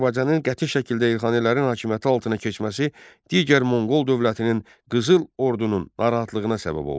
Azərbaycanın qəti şəkildə Elxanilərin hakimiyyəti altına keçməsi digər Monqol dövlətinin Qızıl Ordunun narahatlığına səbəb oldu.